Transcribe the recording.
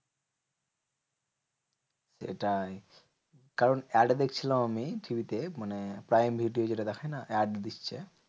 সেটাই কারণ add দেখছিলাম আমি TV তে মানে prime video যেটা দেখে না add দিচ্ছে।